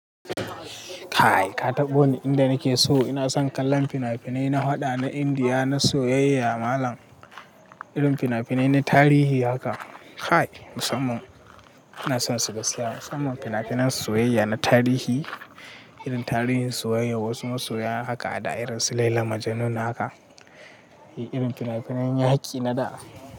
Kai ka taɓa wani inda nake so ina son kallon fina-finai na haɗa na Indiya, na soyayya malam, irin fina-finai na tarihi haka. Kai musamman ina son su gaskiya musamman fina-finan soyayya na tarihi, irin tarihin soyayya wasu masoya haka a da irin su Laila Majnun haka. Irin fina-finan yaƙi na da.